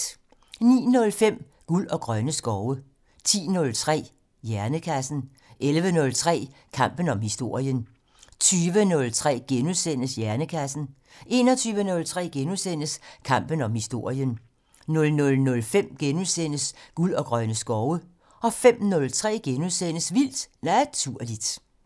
09:05: Guld og grønne skove 10:03: Hjernekassen 11:03: Kampen om historien 20:03: Hjernekassen * 21:03: Kampen om historien * 00:05: Guld og grønne skove * 05:03: Vildt Naturligt *